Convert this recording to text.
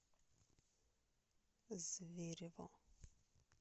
зверево